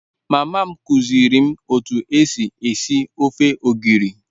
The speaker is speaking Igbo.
Mama m kuziiri m otu esi esi ofe ogiri